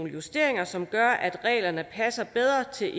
justeringer som gør at reglerne passer bedre til